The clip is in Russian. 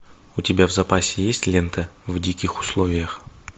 у тебя в запасе есть лента в диких условиях